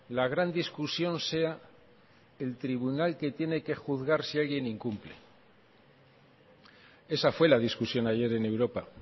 la gran discusión sea el tribunal que tiene que juzgar si alguien incumple esa fue la discusión ayer en europa